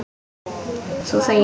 Þú þegir.